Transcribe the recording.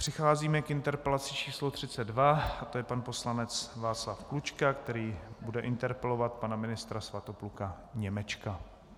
Přicházíme k interpelaci č. 32 a to je pan poslanec Václav Klučka, který bude interpelovat pana ministra Svatopluka Němečka.